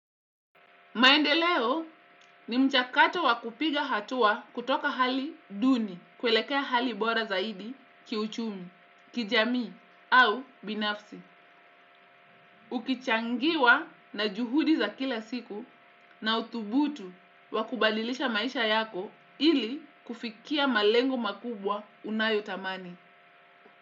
Maendeleo ni mchakato wa kupiga hatua kutoka hali duni kwelekea hali bora zaidi kiuchumi, kijamii au binafsi. Ukichangiwa na juhudi za kila siku na uthubutu wa kubadilisha maisha yako ili kufikia malengo makubwa unayotamani.